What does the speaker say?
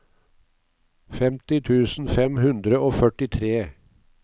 femti tusen fem hundre og førtitre